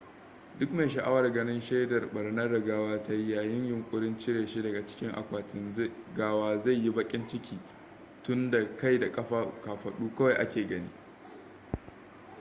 duk mai sha'awar ganin shaidar barnar da gawa ta yi yayin yunƙurin cire shi daga cikin akwatin gawa zai yi baƙin ciki tunda kai da kafaɗu kawai ake gani